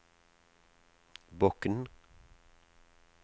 Bokn